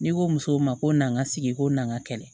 N'i ko musow ma ko n'an ka sigi ko na kɛlɛ